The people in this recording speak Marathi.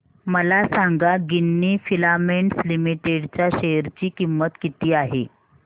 मला सांगा गिन्नी फिलामेंट्स लिमिटेड च्या शेअर ची किंमत किती आहे